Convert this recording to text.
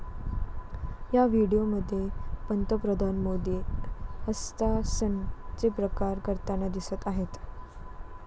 या व्हिडीओमध्ये पंतप्रधान मोदी 'हस्तासन'चे प्रकार करताना दिसत आहेत.